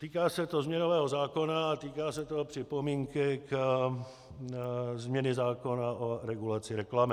Týká se to změnového zákona a týká se to připomínky ke změně zákona o regulaci reklamy.